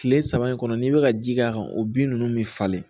Tile saba in kɔnɔ n'i bɛ ka ji k'a kan o bin ninnu bɛ falen